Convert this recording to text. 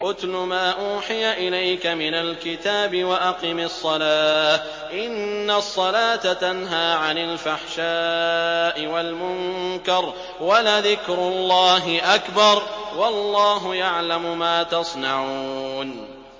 اتْلُ مَا أُوحِيَ إِلَيْكَ مِنَ الْكِتَابِ وَأَقِمِ الصَّلَاةَ ۖ إِنَّ الصَّلَاةَ تَنْهَىٰ عَنِ الْفَحْشَاءِ وَالْمُنكَرِ ۗ وَلَذِكْرُ اللَّهِ أَكْبَرُ ۗ وَاللَّهُ يَعْلَمُ مَا تَصْنَعُونَ